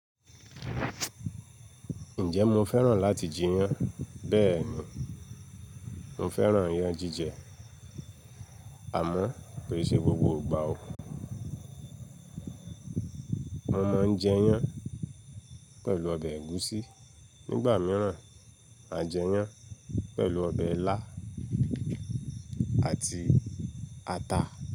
Ǹjẹ́ mo fẹ́ràn láti jiyán? Bẹ́ẹ̀ni, mo fẹ́ràn iyán jíjẹ àmọ́ kii sè gbogbo ìgbà o. Mo máa ń jẹ iyán pẹ̀lú ọbẹ̀ ẹ̀gúsí nígbà mìíràn à jẹ iyán pẹ̀lú ọbẹ̀ ilá àti ata.